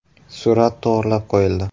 Surat to‘g‘rilab qo‘yildi.